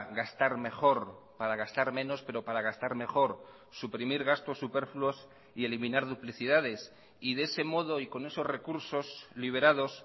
gastar mejor para gastar menos pero para gastar mejor suprimir gastos superfluos y eliminar duplicidades y de ese modo y con esos recursos liberados